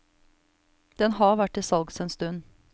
Den har vært til salgs en stund.